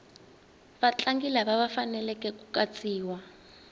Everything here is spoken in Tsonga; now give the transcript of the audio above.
vatlangi lava faneleke ku katsiwa